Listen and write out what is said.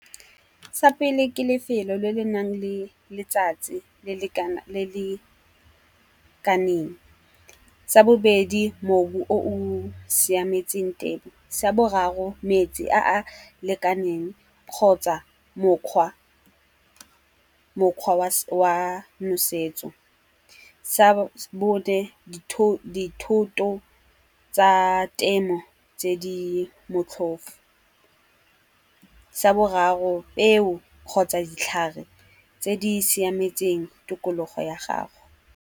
Sa pele ke lefelo le le nang le letsatsi e le lekaneng. Sa bobedi mobu o o siametseng temo. Sa boraro metsi a a lekaneng kgotsa mokgwa wa nosetso. Sa bone dithoto tsa temo tse di motlhofo. Sa boraro peo kgotsa ditlhare tse di siametseng tikologo ya gago.